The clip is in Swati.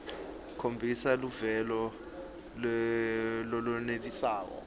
khombisa luvelo lolwenelisako